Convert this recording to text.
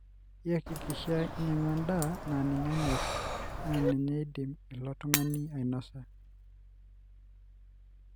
iyakikisha inyiangu endaa na ninye enyorr na kindim ilo tungani ainosa,